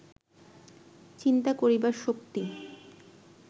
চিন্তা করিবার শক্তি